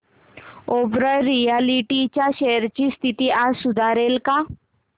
Oberoi realty च्या shares ची स्थिती आज सुधारेल का